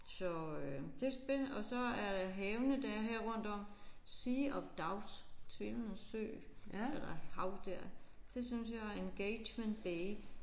Så øh det er vist det og så er der havene der er her rundt om. Sea of Doubt tvivlenes sø eller hav der. Det synes jeg Engagement Bay